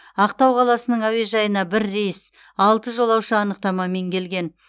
ақтау қаласының әуежайына бір рейс алты жолаушы анықтамамен келген